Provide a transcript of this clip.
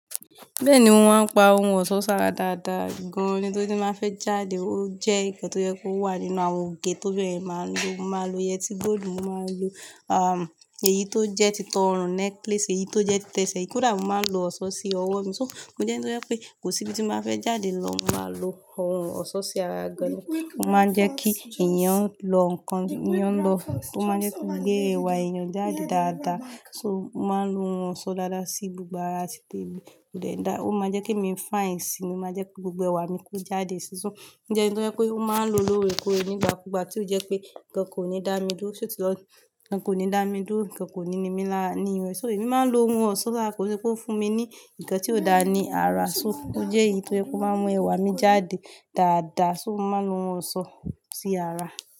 Bẹ́ẹ̀ni mo máa ń pa ohun ọ̀san ṣara dáadáa gan-an. Nitori tí mó fẹ́ jáde, ó jẹ́ nǹkan tó yẹ kó wà nínú àwọn ògè to obinrin máa ń lo. Mo máa lo yẹtí góòlù, mo máa lo, ah, èyí tó jẹ́ ti tọ ọrùn, necklace, èyí tó jẹ́ ti ẹsẹ̀, ko dà. Mo máa ń lo ọ̀ṣọ́ sí ọwọ́ mi. So mo jẹ́ ẹni tó yẹ pé kò sí ibi tí mo báa fẹ́ jáde lọ, mo máa lo ohun ọ̀ṣọ́ sí ara gan-an. Ó máa ń jẹ́ kí èèyàn lọ nǹkan, èèyàn lọ. Ó máa ń jẹ́ kó gbé ẹwà èèyàn jáde dáadáa. So mo máa ń lo ohun ọ̀ṣọ́ dáadáa sí gbogbo ara títí èmi ò le dá. Ó máa ń jẹ́ kí mi fine síi, ó máa jẹ́ kí gbogbo ẹwà mi kó jáde so. Mo jẹ́ ẹni tó jẹ pé ó máa ń lòó lóòrèkóòrè n'ìgbàkúùgbà tí ó jẹ́ pé nǹkan kò ní dá mi dúró, só ti lọ ni ǹkan kò ní dá mi dúró, ǹkan kò ní nimí lára ní irun. So èmi máa ń lo ohun ọ̀ṣọ́ lára, kó ṣe pé ó ń fún mi ní ǹkan tí ò dá ní ara. So ó jẹ́ èyí tó jẹ́ pé ó máa ń mú ẹwà mi jáde dáadáa. So mo máa ń lo ohun ọ̀ṣọ́ sí ara.